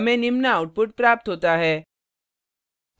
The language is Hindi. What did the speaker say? हमें निम्न output प्राप्त होता है